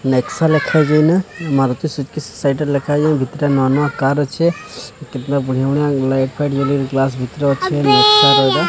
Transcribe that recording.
ନେକ୍ସା ଲେଖାହେଇଚି ନା Maruti Suzuki side ସାଇଟ୍ ଲେଖା ହେଇଚି ଭିତିଟା ନୂଆ ନୂଆ କାର୍ ଅଛି କିତ୍ ନା ବଢ଼ିଆ ବଢ଼ିଆ ଲାଇଟ୍ ଫାଇଟ୍ ଜାଳିବା ଗ୍ଲାସ୍ ଭିତରେ ଅଛି ।